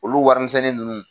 Olu warimisɛnnin ninnu.